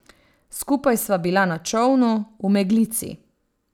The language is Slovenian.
Skupaj sva bila na čolnu, v meglici.